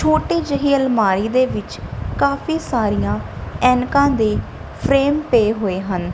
ਛੋਟੀ ਜਿਹੀ ਅਲਮਾਰੀ ਦੇ ਵਿੱਚ ਕਾਫੀ ਸਾਰੀਆਂ ਐਨਕਾਂ ਦੇ ਫਰੇਮ ਪਏ ਹੋਏ ਹਨ।